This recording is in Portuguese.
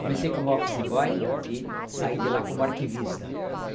Comecei como office boy e saí de lá como arquivista.